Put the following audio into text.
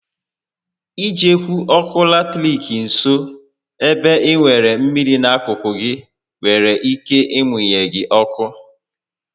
I jekwu ọkụ latiriki nso ébé ị nwèrè mmịrị n'akụkụ gị nwere ike ị munye gị ọkụ